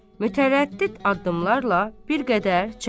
Mütərəddid addımlarla bir qədər çəkilir.